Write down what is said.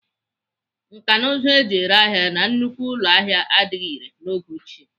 Nkanụzụ eji ere ahịa na nnukwu ụlọahịa adịghị irè n'oge ochie.